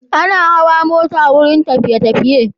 Ana hawa mota wurin tafi_tafiye